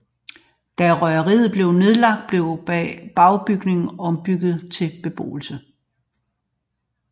Da røgeriet blev nedlagt blev bagbygningen ombygget til beboelse